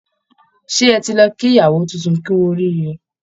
Ṣé ẹ ti lọ kí ìyawó tuntun kú orííre?